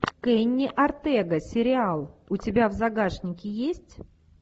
кенни ортега сериал у тебя в загашнике есть